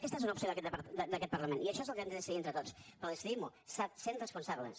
aquesta és una opció d’aquest parlament i això és el que hem de decidir entre tots però decidim ho sent responsables